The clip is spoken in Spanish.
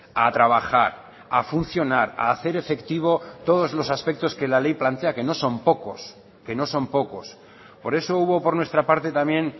a trabajar a funcionar a hacer efectivo todos los aspectos que la ley plantea que no son pocos que no son pocos por eso hubo por nuestra parte también